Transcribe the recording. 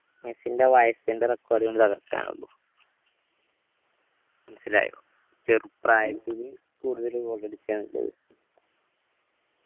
മെസ്സിന്റെ വയസ്സിന്റെ record കൊണ്ട് തകർക്കാനെ ഉള്ളു മനസ്സിലായോ ചെറുപ്രായത്തില് കൂടുതൽ goal അടിച്ച് എന്നില്ലത്